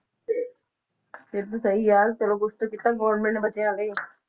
ਫਿਰ ਤਾਂ ਸਹੀ ਆ ਚਲੋ ਕੁਛ ਤਾਂ ਕੀਤਾ government ਨੇ ਬੱਚਿਆਂ ਲਈ